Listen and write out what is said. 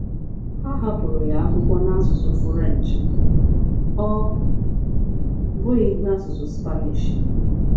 Ha hapụrụ ya akwụkwọ n’asụsụ Furenchi, ọ bụghị n’asụsụ Spanishi!